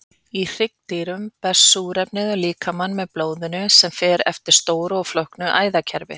Í hryggdýrum berst súrefni um líkamann með blóðinu sem fer eftir stóru og flóknu æðakerfi.